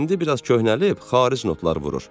İndi biraz köhnəlib xaric notlar vurur."